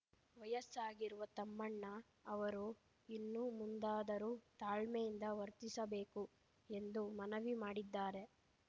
ವಯಸ್ಸಾಗಿರುವ ತಮ್ಮಣ್ಣ ಅವರು ಇನ್ನು ಮುಂದಾದರೂ ತಾಳ್ಮೆಯಿಂದ ವರ್ತಿಸಬೇಕು ಎಂದು ಮನವಿ ಮಾಡಿದ್ದಾರೆ